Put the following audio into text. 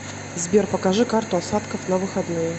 сбер покажи карту осадков на выходные